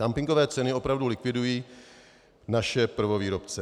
Dumpingové ceny opravdu likvidují naše prvovýrobce.